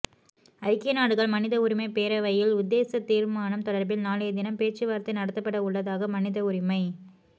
ஐக்கிய நாடுகள் மனித உரிமைப் பேரவையில் உத்தேச தீர்மானம் தொடர்பில் நாளைய தினம் பேச்சுவார்த்தை நடத்தப்பட உள்ளதாக மனித உரிமை